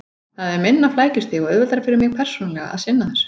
Það er minna flækjustig og auðveldara fyrir mig persónulega að sinna þessu.